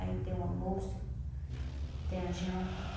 Aí tem o almoço, tem a janta.